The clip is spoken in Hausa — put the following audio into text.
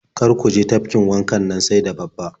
Kar ku je tafkin wanka sai da babba.